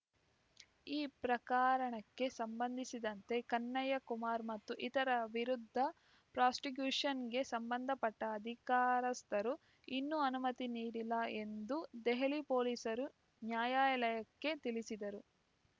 ಈ ಪ್ರಕರಣಕ್ಕೆ ಸಂಬಂಧಿಸಿದಂತೆ ಕನ್ನಯ್ಯಕುಮಾರ್ ಮತ್ತು ಇತರ ವಿರುದ್ದ ಪ್ರಾಸಿಕ್ಯುಷನ್‌ಗೆ ಸಂಬಂಧಪಟ್ಟ ಅಧಿಕಾರಸ್ಥರು ಇನ್ನೂ ಅನುಮತಿ ನೀಡಿಲ್ಲ ಎಂದು ದೆಹಲಿ ಪೊಲೀಸರು ನ್ಯಾಯಾಲಯಕ್ಕೆ ತಿಳಿಸಿದರು